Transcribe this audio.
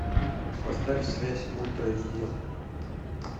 поставь связь ультра эйч ди